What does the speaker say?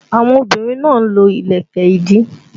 Àwọn obìnrin náà lo ìlẹ̀kẹ̀ ìdí